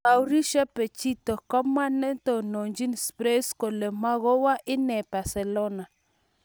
Mauricio Pochettino:Kamwa netononjin Spurs kole magowo inne Barcelona